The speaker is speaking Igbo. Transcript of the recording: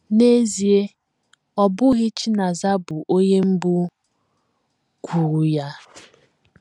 N’ezie, ọ bụghị Chinaza bụ onye mbụ kwuru ya.